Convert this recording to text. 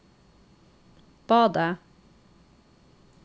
badet